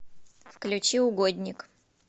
включи угодник